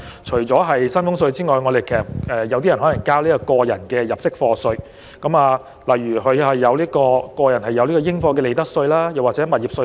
除薪俸稅外，有部分人士亦須繳交個人入息課稅，例如個人應課利得稅或物業稅。